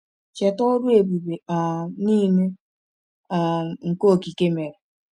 Cheta ọrụ ebube um niile[um] nke okike mere.